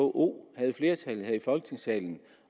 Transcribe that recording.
vko havde flertallet her i folketingssalen